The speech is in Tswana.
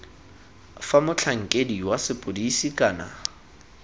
fa motlhankedi wa sepodisi kana